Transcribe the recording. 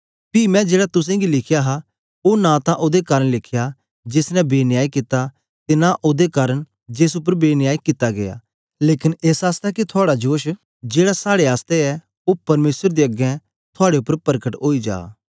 पी मैं जेड़ा तुसेंगी लिखया हा ओ नां तां ओदे कारन लिखया जेस ने बेन्याय कित्ता ते नां ओदे कारन जेस उपर बेन्याय कित्ता गीया लेकन एस आसतै के थुआड़ा जोश जेड़ा साड़े आसतै ऐ ओ परमेसर दे अगें थुआड़े उपर परकट ओई जा